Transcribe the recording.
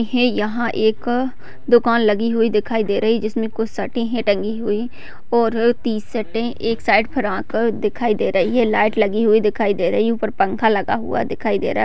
है यहां एक दुकान लगी हुई दिखाई दे रही है जिसमें कुछ शटे हैं टंगी हुई और टी-शटे एक साइड फ्रॉक दिखाई दे रही है लाइट लगी हुई दिखाई दे रही है ऊपर पंखा लगा हुआ दिखाई दे रहा है।